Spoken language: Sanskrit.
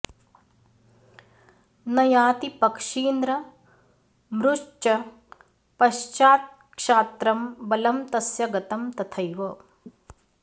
न याति पक्षीन्द्र मृश्च पश्चात्क्षात्त्रं बलं तस्य गतं तथैव